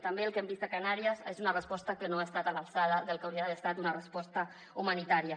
també el que hem vist a canàries és una resposta que no ha estat a l’alçada del que hauria d’haver estat una resposta humanitària